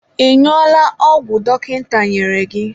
Ị ñụọla ọgwụ dọkịta nyere gị?